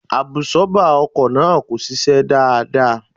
Àbùsọ́ọ́bà ọkọ̀ náà kò ṣiṣẹ́ dáadáa